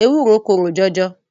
Ewúro korò jọjọ.